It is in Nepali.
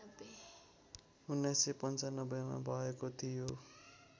१९९५ मा भएको थियो